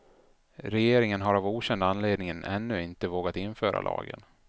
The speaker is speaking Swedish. Regeringen har av okänd anledning ännu inte vågat införa lagen.